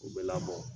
U bɛɛ labɔ